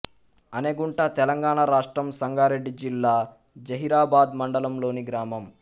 అనెగుంట తెలంగాణ రాష్ట్రం సంగారెడ్డి జిల్లా జహీరాబాద్ మండలంలోని గ్రామం